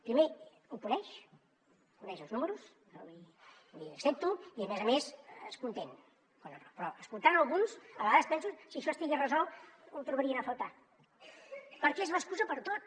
primer ho coneix coneix els números l’hi accepto i a més a més es conté però escoltant alguns a vegades penso si això estigués resolt ho trobarien a faltar perquè és l’excusa per a tot